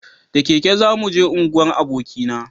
da keke za mu je unguwar aboki na